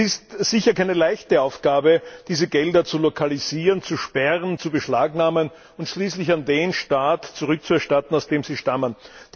Es ist sicher keine leichte Aufgabe, diese Gelder zu lokalisieren, zu sperren, zu beschlagnahmen und schließlich an den Staat zurückzuerstatten, aus dem sie stammen.